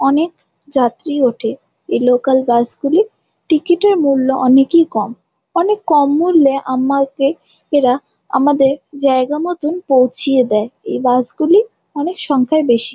অনেক যাত্রী ওঠে। এই লোকাল বাস গুলির টিকেট -এর মূল্য অনেকই কম। অনেক কম মূল্যে আমাকে এরা আমাদের জায়গা মতন পৌঁছিয়ে দেয়। এই বাস গুলি অনেক সংখ্যায় বেশি ।